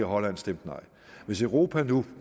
og holland stemte nej hvis europa nu